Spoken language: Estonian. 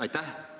Aitäh!